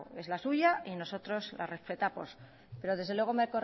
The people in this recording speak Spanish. es la suya y nosotros la respetamos pero desde luego me